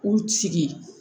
K'u sigi